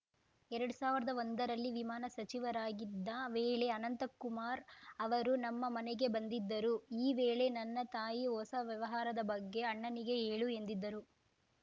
ಎರಡ್ ಸಾವಿರ್ದಾ ಒಂದರಲ್ಲಿ ವಿಮಾನ ಸಚಿವರಾಗಿದ್ದ ವೇಳೆ ಅನಂತಕುಮಾರ್‌ ಅವರು ನಮ್ಮ ಮನೆಗೆ ಬಂದಿದ್ದರು ಈ ವೇಳೆ ನನ್ನ ತಾಯಿ ಹೊಸ ವ್ಯವಹಾರದ ಬಗ್ಗೆ ಅಣ್ಣನಿಗೆ ಹೇಳು ಎಂದಿದ್ದರು